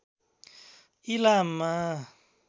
इलाममा